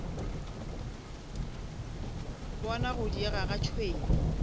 bona go diega ga tšhwene